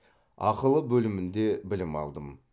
ақылы бөлімінде білім алдым